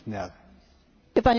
Panie Przewodniczący!